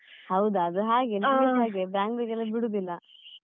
ಹೌದು ಅದು ಹಾಗೆ, ನಂದುಸ ಅದೆ Bangalore ಗೆಲ್ಲ ಬಿಡುದಿಲ್ಲ.